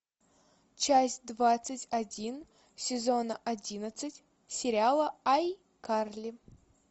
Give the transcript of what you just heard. часть двадцать один сезона одиннадцать сериала айкарли